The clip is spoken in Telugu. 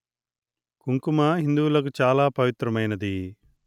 కుంకుమ హిందువులకు చాలా పవిత్రమైనది